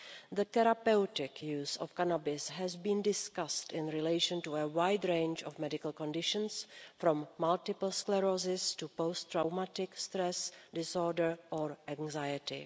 The therapeutic use of cannabis has been discussed in relation to a wide range of medical conditions, from multiple sclerosis to post-traumatic stress disorder and anxiety.